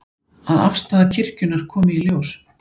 Að afstaða kirkjunnar komi í ljós